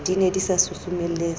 di ne di sa susumeletswa